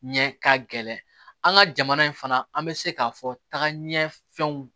Ɲɛ ka gɛlɛn an ka jamana in fana an bɛ se k'a fɔ tagaɲɛ fɛnw